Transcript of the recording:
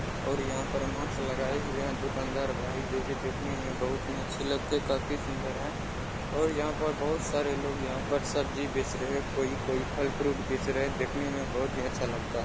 और यहाँ पर मास्क लगाए वह दुकानदार भाई जो की देखने में बहुत ही अच्छे लगते काफी सुंदर है और यहाँ पर बहुत सारे लोग यहाँ पर सब्जी बेच रहे कोई-कोई फल फ्रूट बैच रहे देखने में बहुत ही अच्छा लगता।